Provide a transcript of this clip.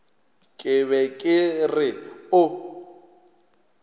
ke be ke re o